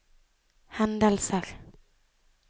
hendelser